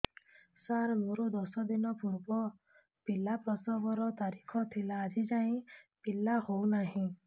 ସାର ମୋର ଦଶ ଦିନ ପୂର୍ବ ପିଲା ପ୍ରସଵ ର ତାରିଖ ଥିଲା ଆଜି ଯାଇଁ ପିଲା ହଉ ନାହିଁ